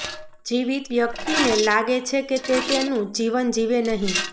જીવિત વ્યક્તિને લાગે છે કે તે તેનું જીવન જીવે નહીં